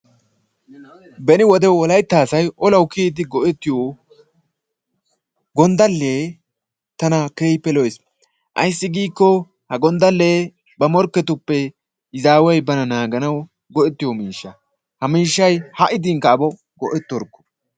Beni wolaytta asay olawu kiyyiidi go"ettiyoo gonddalee tana keehippe lo"ees. Ayssi giikko ha gonddalee ba morkketuppe izaaway bana naaganawu go"ettiyoo miishsha. Ha miishshay ha'i diinkka abo go"ettorkoo!